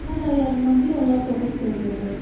Hər ay yarımdan bir onlar doğub törəyəcək.